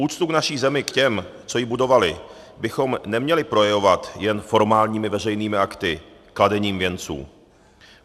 Úctu k naší zemi, k těm, co ji budovali, bychom neměli projevovat jen formálními veřejnými akty, kladením věnců.